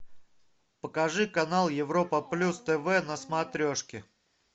покажи канал европа плюс тв на смотрешке